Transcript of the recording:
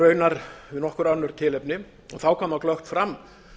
raunar nokkur önnur tilefni þá koma glöggt fram